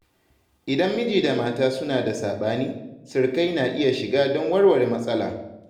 Idan mijin da mata suna da saɓani, sirikai na iya shiga don warware matsala.